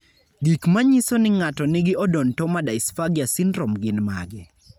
Gik manyiso ni ng'ato nigi Odontoma dysphagia syndrome gin mage?